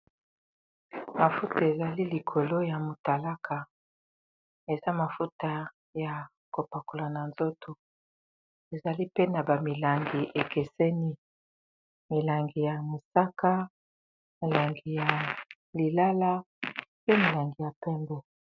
Mafuta ezali likolo ya motalaka eza mafuta ya kopakola na nzoto ezali pe na ba milangi ekeseni molangi ya mosaka molangi ya lilala pe molangi ya pembe.